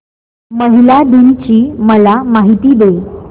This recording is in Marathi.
महिला दिन ची मला माहिती दे